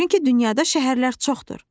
Çünki dünyada şəhərlər çoxdur.